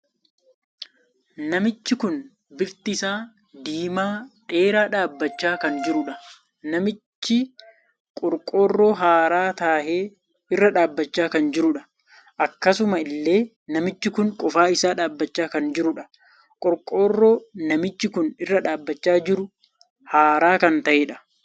Namichi kun bifti isaa diimaa dheeraa dhaabbachaa kan jirudha. namichi qorqorroo haaraa tahe irra dhaabbachaa kan jiruudha. akkasuma illee namichi kun qofaa isaa dhaabbachaa kan jirudha. qorqorroo namichi kun irra dhaabbachaa jiru haaraa kan tahedha.